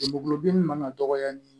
Guloki in man ka dɔgɔya ni